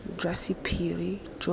jwa sephiri jo re bo